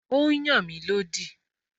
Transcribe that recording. Ó n yàn mí lódì